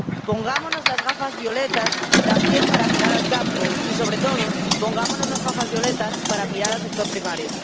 Pongámonos las gafas violetas también para mirar al campo y, sobre todo, pongámonos las gafas violetas para mirar al sector primario.